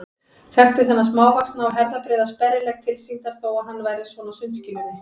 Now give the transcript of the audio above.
Þekkti þennan smávaxna og herðabreiða sperrilegg tilsýndar þó að hann væri svona á sundskýlunni.